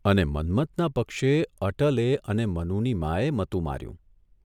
અને મન્મથના પક્ષે અટલે અને મનુની માએ મતું માર્યું.